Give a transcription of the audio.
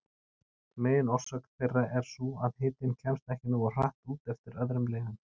Meginorsök þeirra er sú að hitinn kemst ekki nógu hratt út eftir öðrum leiðum.